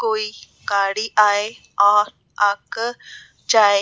कोई गाड़ी आए और आ कर जाए।